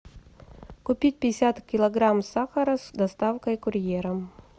купить пятьдесят килограмм сахара с доставкой курьером